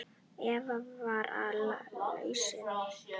Eva: Hver er lausnin?